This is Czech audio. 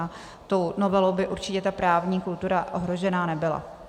A tou novelou by určitě ta právní kultura ohrožena nebyla.